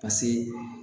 Paseke